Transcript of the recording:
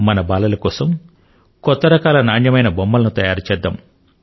మన బాలల కోసం కొత్త రకాల నాణ్యమైన బొమ్మల ను తయారు చేద్దాము